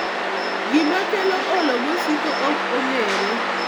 Gima kelo olo masiko ok ong'ere.